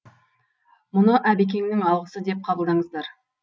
мұны әбекеңнің алғысы деп қабылдаңыздар